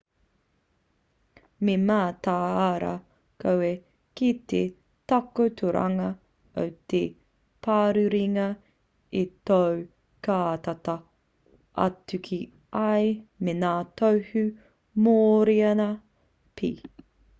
me mataara koe ki te takotoranga o te parurenga i tō kātata atu ki a ia me ngā tohu mōrearea pea